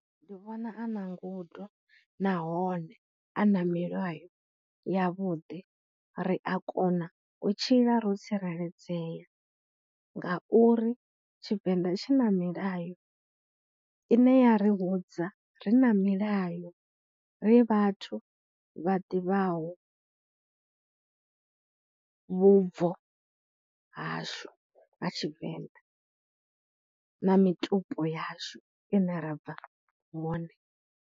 Ndi vhona a na ngudo nahone a na milayo yavhuḓi, ri a kona u tshila ro tsireledzea nga uri Tshivenḓa tshi na milayo ine ya ri vhudza ri na milayo ri vhathu vha ḓivhaho vhubvo hashu ha Tshivenḓa na mitupo yashu ine ra bva hone.